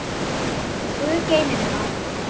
Guð geymi þig, afi minn.